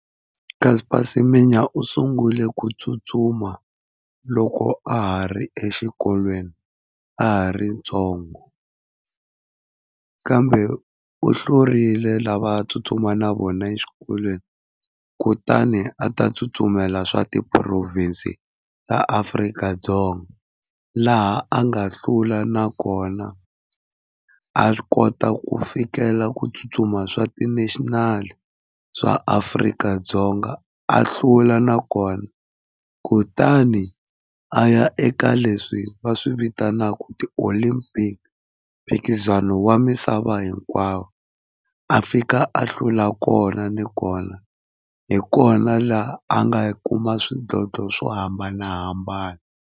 Caster Semenya u sungule ku tsutsuma loko a ha ri exikolweni a ha ri ntsongo, kambe u hlurile lava a tsutsuma na vona exikolweni. Kutani a ta tsutsumela swa ti-province ta Afrika-Dzonga, laha a nga hlula nakona, a kota ku fikela ku tsutsuma swa ti-national swa Afrika-Dzonga a hlula nakona. Kutani a ya eka leswi va swi vitanaka ti-olympic mphikizano wa misava hinkwawo, a fika a hlula kona ni kona, hi kona laha a nga kuma swidlodlo swo hambanahambana.